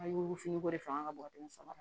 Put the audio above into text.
A yugufugu de fanga ka bon ka dama sama